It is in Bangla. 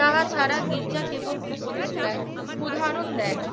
তারা ছাড়া গির্জা কেবল উপদেষ্টার উদাহরণ দেয় না